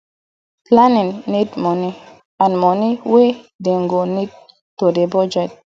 planning need moni and moni wey dey go need to dey budget